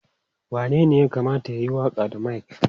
Wanene ya kamata ya yi waƙa da mic?